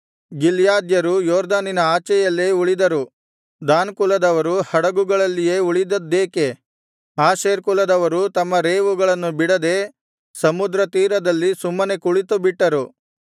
ಗಿಲ್ಯಾದ್ಯರು ಯೊರ್ದನಿನ ಆಚೆಯಲ್ಲೇ ಉಳಿದರು ದಾನ್ ಕುಲದವರು ಹಡಗುಗಳಲ್ಲಿಯೇ ಉಳಿದದ್ದೇಕೆ ಆಶೇರ್ ಕುಲದವರು ತಮ್ಮ ರೇವುಗಳನ್ನು ಬಿಡದೆ ಸಮುದ್ರ ತೀರದಲ್ಲಿ ಸುಮ್ಮನೆ ಕುಳಿತುಬಿಟ್ಟರು